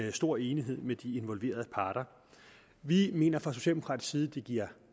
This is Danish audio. i stor enighed med de involverede parter vi mener fra socialdemokratisk side at det giver